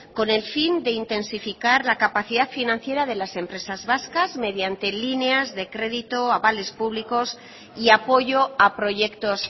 con el fin de intensificar la capacidad financiera de las empresas vascas mediante líneas de crédito avales públicos y apoyo a proyectos